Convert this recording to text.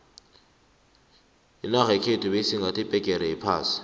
inarha yekhethu beyisingathe iphegere yephasi